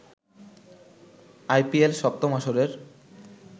IPL সপ্তম আসরের